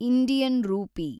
Indian rupee